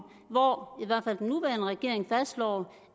hvor i regering fastslår